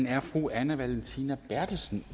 er fru anne valentina berthelsen